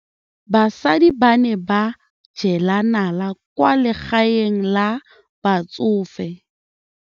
Basadi ba ne ba jela nala kwaa legaeng la batsofe.